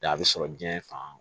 Da a bɛ sɔrɔ diɲɛ fan